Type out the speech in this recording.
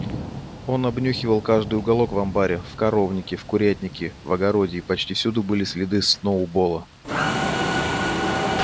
он обнюхивал каждый уголок в амбаре в коровнике в курятнике в огороде и почти всюду были следы сноуболла